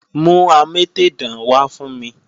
Mú amétèdán wá fún mi!